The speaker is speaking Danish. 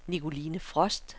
Nicoline Frost